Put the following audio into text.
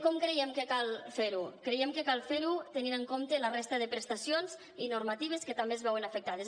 com creiem que cal fer ho creiem que cal fer ho tenint en compte la resta de prestacions i normatives que també es veuen afectades